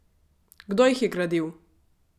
Kdo jih je gradil?